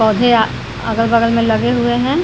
पौधे अगल-बगल में लगे हुए हैं।